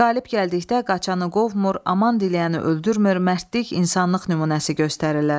Qalib gəldikdə qaçanı qovmur, aman diləyəni öldürmür, mərdlik, insanlıq nümunəsi göstərirlər.